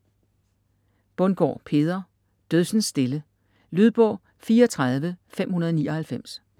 Bundgaard, Peder: Dødsens stille Lydbog 34599